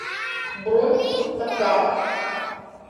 бронь такара